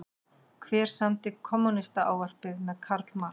Hver samdi Kommúnistaávarpið með Karl Marx?